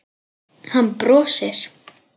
Hann brosir.